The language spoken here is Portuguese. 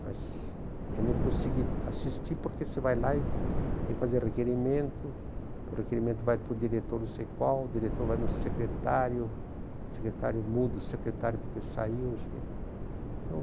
Mas eu não consegui assistir porque você vai lá e tem que fazer requerimento, o requerimento vai para o diretor não sei qual, o diretor vai no secretário, o secretário muda, o secretário porque saiu, não sei o quê, então...